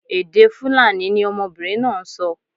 Èdè Fulani ni ọmọbinrin naa n sọ